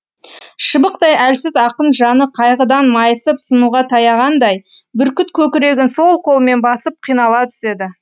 шыбықтай әлсіз ақын жаны қайғыдан майысып сынуға таяғандай бүркіт көкірегін сол қолымен басып қинала түседі